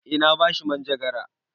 Eh na ba shi manjagara.